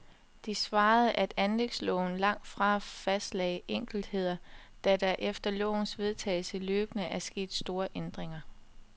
De svarede, at anlægsloven langtfra fastlagde enkeltheder, da der efter lovens vedtagelse løbende er sket store ændringer.